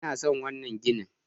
I na son wannan gini.